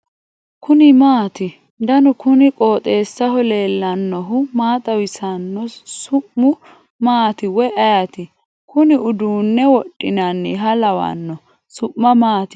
kuni maati ? danu kuni qooxeessaho leellannohu maa xawisanno su'mu maati woy ayeti ? kuni uduunne wodhinanniha lawanno . su'ma maati ?